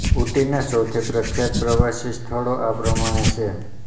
ઊટીના સૌથી પ્રખ્યાત પ્રવાસી સ્થળો આ પ્રમાણે છે